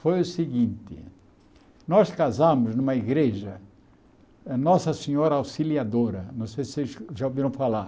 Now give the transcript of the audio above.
Foi o seguinte, nós casamos numa igreja, Nossa Senhora Auxiliadora, não sei se vocês já ouviram falar.